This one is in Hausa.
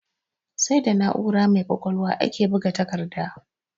Sai da na'ura mai ƙwaƙwalwa ake buga takarda.